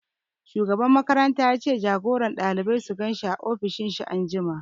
Shugaban makaranta ya ce jagoran ɗalibai su gan shi a ofishin shi anjima